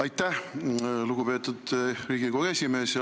Aitäh, lugupeetud Riigikogu esimees!